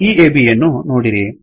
ಈ ABಯನ್ನೂ ನೋಡಿರಿ